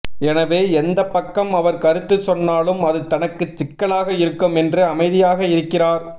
எனவே எந்த பக்கம் அவர் கருத்து சொன்னாலும் அது தனக்கு சிக்கலாக இருக்கும் என்று அமைதியாக இருக்கிறார்